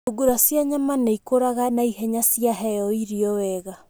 Thungura cia nyama nĩ ikũraga naihenya ciaheo irio wega.